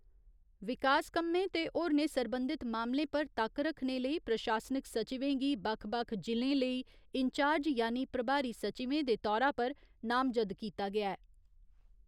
विकास कम्में ते होरनें सरबंधित मामलें पर तक्क रक्खने लेई प्रशासनिक सचिवें गी बक्ख बक्ख जि'लें लेई इन्चार्ज यानि प्रभारी सचिवें दे तौरा पर नामजद कीता ऐ।